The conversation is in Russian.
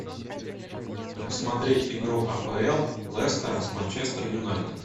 посмотреть игру апл лестера с манчестер юнайтед